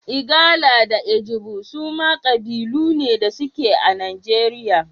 Igala da Ijebu suma kabilu ne da suke a Najeriya.